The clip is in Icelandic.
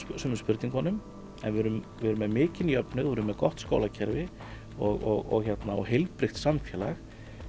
sumum spurningunum en við erum við erum með mikinn jöfnuð og erum með gott skólakerfi og heilbrigt samfélag